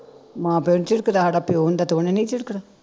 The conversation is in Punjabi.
ਮਾਂ ਪਿਉ ਨੂੰ ਝਿੜਕਦਾ ਹਾਡਾ ਪਿਉ ਹੁੰਦਾ ਤੇ ਉਹਨੇ ਨੀ ਝਿੜਕਣਾ